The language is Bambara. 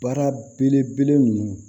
Baara belebele ninnu